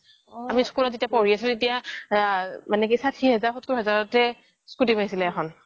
আমি যেতিয়া স্কুলত পঢ়ি আছিলোঁ তেতিয়া ষাঠি হাজাৰ সত্ৰৰ হাজাৰতে স্কুটি পাইছিলে এখন